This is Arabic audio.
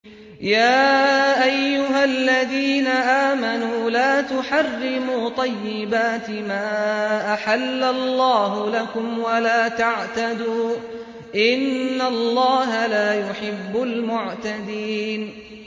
يَا أَيُّهَا الَّذِينَ آمَنُوا لَا تُحَرِّمُوا طَيِّبَاتِ مَا أَحَلَّ اللَّهُ لَكُمْ وَلَا تَعْتَدُوا ۚ إِنَّ اللَّهَ لَا يُحِبُّ الْمُعْتَدِينَ